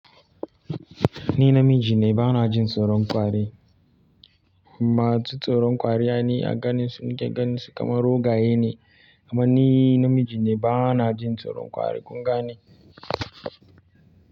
Ni namiji ne, ba na jin tsoron kwari. Ma su tsoron kwari ai ni a ganin su, ni ke ganin su kamar raggwaye ne. Amma ni namiji ne, ba na jin tsoron kwari kun gane.